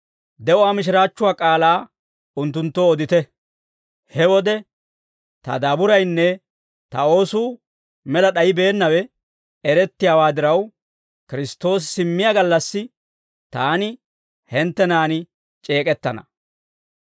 de'uwaa mishiraachchuwaa k'aalaa unttunttoo odite; he wode ta daaburaynne ta oosuu mela d'ayibeennawe erettiyaa diraw, Kiristtoosi simmiyaa gallassi taani hinttenan c'eek'ettana.